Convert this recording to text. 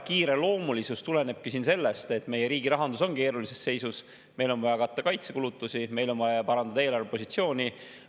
Kiireloomulisus tulenebki sellest, et meie riigi rahandus on keerulises seisus, meil on vaja katta kaitsekulutusi, meil on vaja parandada eelarvepositsiooni.